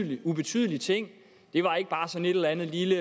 en lille ubetydelig ting det var ikke bare sådan et eller andet lille